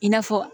I n'a fɔ